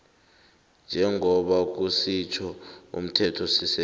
njengoba kusitjho umthethosisekelo